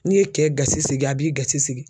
N'i ye kɛ gasi sigi, a b'i gasi sigi .